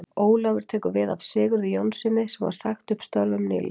Ólafur tekur við af Sigurði Jónssyni sem var sagt upp störfum nú nýlega.